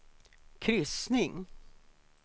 kryssning